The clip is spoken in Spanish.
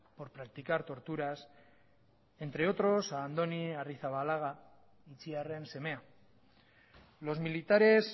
por practicar torturas entre otros a andoni arrizabalaga itziarren semea los militares